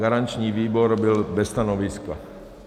Garanční výbor byl bez stanoviska.